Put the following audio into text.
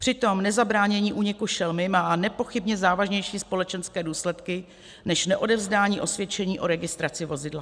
Přitom nezabránění úniku šelmy má nepochybně závažnější společenské důsledky, než neodevzdání osvědčení o registraci vozidla.